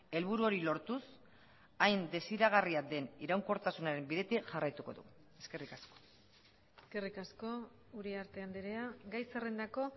helburu hori lortuz hain desiragarria den iraunkortasunaren bidetik jarraituko du eskerrik asko eskerrik asko uriarte andrea gai zerrendako